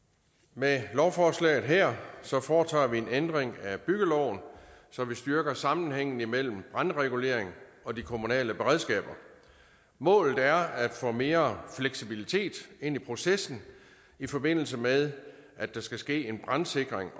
med lovforslaget her foretager vi en ændring af byggeloven så vi styrker sammenhængen imellem brandregulering og de kommunale beredskaber målet er at få mere fleksibilitet ind i processen i forbindelse med at der skal ske en brandsikring